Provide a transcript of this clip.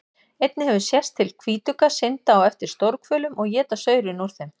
Einnig hefur sést til hvítugga synda á eftir stórhvölum og éta saurinn úr þeim.